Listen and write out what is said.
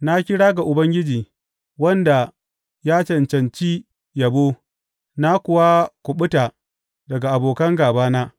Na kira ga Ubangiji, wanda ya cancanci yabo, na kuwa kuɓuta daga abokan gābana.